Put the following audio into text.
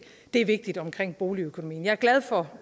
det er vigtigt omkring boligøkonomien jeg er glad for